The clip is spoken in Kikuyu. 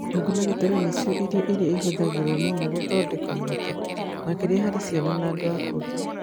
Nyũngũ na gĩtoero nĩ cio irio iria ihũthagĩrũo mũno gũthondeka mũgate, makĩria harĩ ciana na andũ akũrũ.